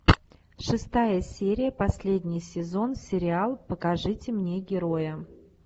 шестая серия последний сезон сериал покажите мне героя